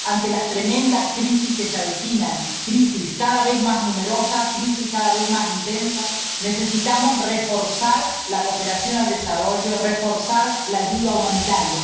Ante las tremendas crisis que se avecinan, crisis cada vez más numerosas, crisis cada vez más intensas, necesitamos reforzar la cooperación al desarrollo, reforzar la ayuda humanitaria.